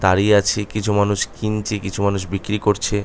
দাঁড়িয়ে আছি কিছু মানুষ কিনছে কিছু মানুষ বিক্রি করছে।